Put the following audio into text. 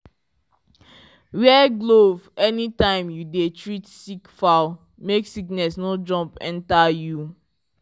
wear glove anytime you dey treat sick fowl make sickness no jump enter you.